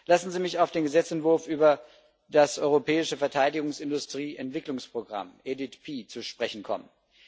Lassen Sie mich auf den Gesetzentwurf über das Europäische Verteidigungsindustrie Entwicklungsprogramm EDIDP zu sprechen kommen.